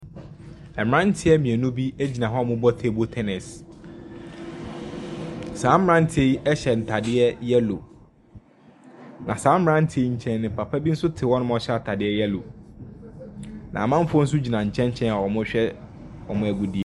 Mmeranteɛ mmienu bi gyina hɔ a wɔrebɔ table tennis, saa mmeranteɛ yi hyɛ ntadeɛ yellow, na saa mmeranteɛ yi nkyɛn no, papa bi te hɔ a ɔhyɛ atade yellow, na amanfoɔ nso gyina nkyɛnkyɛn a wɔrehwɛ wɔn agodie.